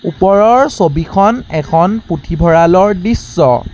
ওপৰৰ ছবিখন এখন পুথিভঁৰালৰ দৃশ্য।